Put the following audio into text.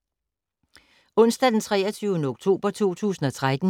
Onsdag d. 23. oktober 2013